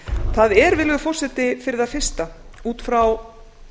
það er virðulegur forseti fyrir það fyrsta út frá